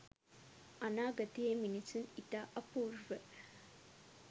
අනාගතයේ මිනිසුන් ඉතා අපූර්ව